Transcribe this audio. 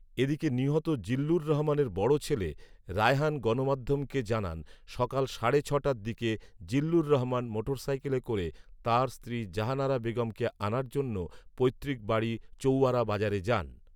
এদিকে নিহত জিল্লুর রহমানের বড় ছেলে রায়হান গণমাধ্যমকে জানান, সকাল সাড়ে ছ'টার দিকে জিল্লুর রহমান মোটরসাইকেলে করে তাঁর স্ত্রী জাহানারা বেগমকে আনার জন্য পৈত্রিক বাড়ি চৌয়ারা বাজারে যান